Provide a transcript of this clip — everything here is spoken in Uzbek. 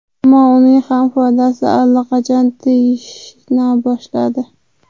Ammo uning ham foydasi allaqachon tegishni boshladi.